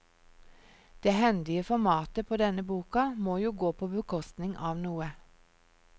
Det hendige formatet på denne boka må jo gå på bekostning av noe.